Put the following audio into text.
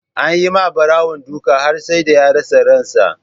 Anyi ma Barawon duka har sai da ya rasa ransa.